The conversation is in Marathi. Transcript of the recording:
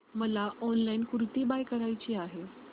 मला ऑनलाइन कुर्ती बाय करायची आहे